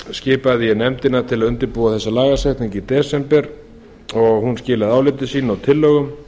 ég nefndina til að undirbúa þessa lagasetningu í desember og hún skilaði áliti sínu og tillögum